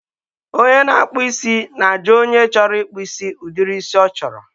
onye na-akpụ isi na-ajụ onye chọrọ ịkpụ isi ụdịrị isi ọ chọrọ.